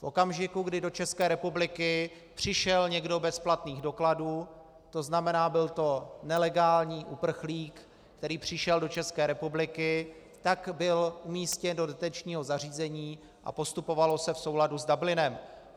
V okamžiku, kdy do České republiky přišel někdo bez platných dokladů, to znamená, byl to nelegální uprchlík, který přišel do České republiky, tak byl umístěn do detenčního zařízení a postupovalo se v souladu s Dublinem.